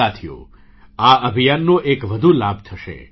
સાથીઓ આ અભિયાનનો એક વધુ લાભ થશે